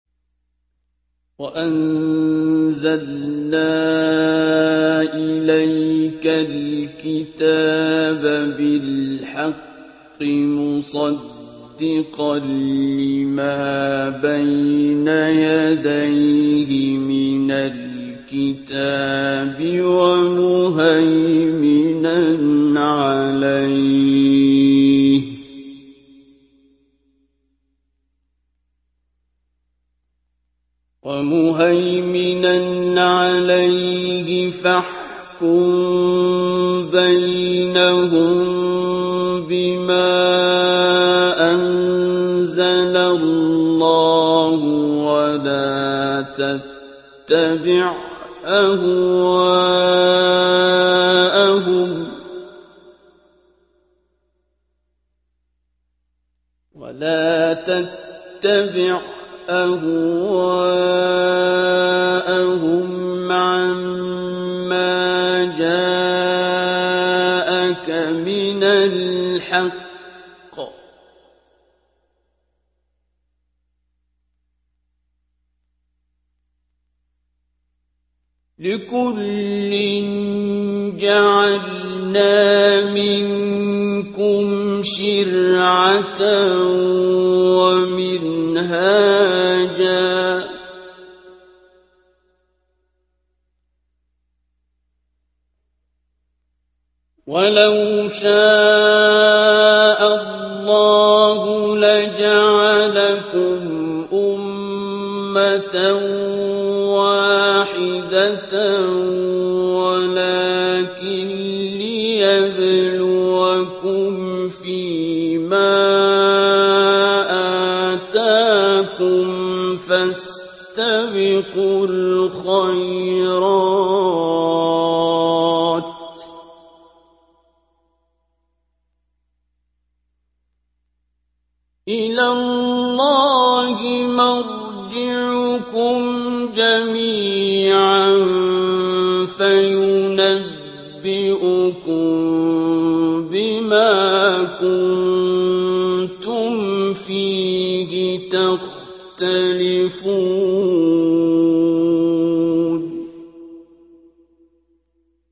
وَأَنزَلْنَا إِلَيْكَ الْكِتَابَ بِالْحَقِّ مُصَدِّقًا لِّمَا بَيْنَ يَدَيْهِ مِنَ الْكِتَابِ وَمُهَيْمِنًا عَلَيْهِ ۖ فَاحْكُم بَيْنَهُم بِمَا أَنزَلَ اللَّهُ ۖ وَلَا تَتَّبِعْ أَهْوَاءَهُمْ عَمَّا جَاءَكَ مِنَ الْحَقِّ ۚ لِكُلٍّ جَعَلْنَا مِنكُمْ شِرْعَةً وَمِنْهَاجًا ۚ وَلَوْ شَاءَ اللَّهُ لَجَعَلَكُمْ أُمَّةً وَاحِدَةً وَلَٰكِن لِّيَبْلُوَكُمْ فِي مَا آتَاكُمْ ۖ فَاسْتَبِقُوا الْخَيْرَاتِ ۚ إِلَى اللَّهِ مَرْجِعُكُمْ جَمِيعًا فَيُنَبِّئُكُم بِمَا كُنتُمْ فِيهِ تَخْتَلِفُونَ